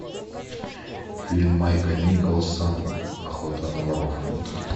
фильм майка николса охота на воров